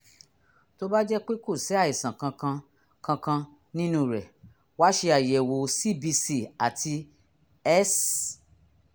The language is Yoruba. tó bá jẹ́ pé kò sí àìsàn kankan kankan nínú rẹ̀ wá ṣe àyẹ̀wò cbc àti s